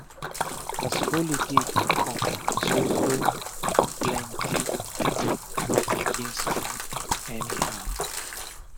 as holiday dey come so so um plenti pipu go begin spend spend anyhow